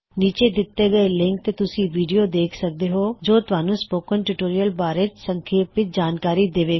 ਨੀਚੇ ਦਿੱਤੇ ਹੋਏ ਲਿੰਕ ਤੇ ਤੁਸੀ ਵੀਡਿਓ ਦੇਖ ਸਕਦੇ ਹੋ ਜੋ ਤੁਹਾਨੂੰ ਸਪੋਕਨ ਟਿਊਟੋਰਿਯਲ ਬਾਰੇ ਸੰਖੇਪ ਵਿੱਚ ਜਾਣਕਾਰੀ ਦੇਵੇਗਾ